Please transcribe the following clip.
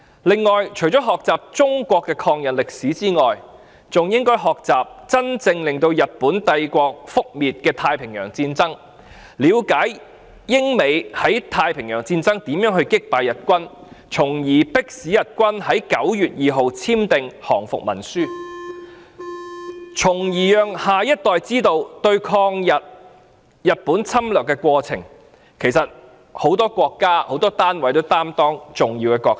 此外，除了學習中國的抗日歷史之外，還應該學習真正令日本帝國覆滅的太平洋戰爭，了解英美在太平洋戰爭如何擊敗日軍，從而迫使日軍在9月2日簽訂降伏文書，令下一代知道在對抗日本侵略的過程中，很多國家和單位也擔當重要的角色。